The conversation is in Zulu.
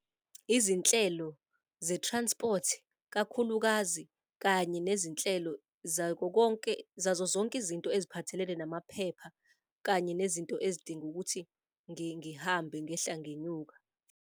Izinhlelo ze-transport kakhulukazi kanye nezinhlelo zakho konke, zazo zonke izinto eziphathelene namaphepha kanye nezinto ezidinga ukuthi ngihambe ngehla ngenyuka.